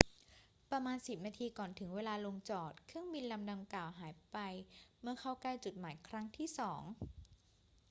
ประมาณสิบนาทีก่อนถึงเวลาลงจอด เครื่องบินลำดังกล่าวหายไปเมื่อเข้าใกล้จุดหมายครั้งที่สอง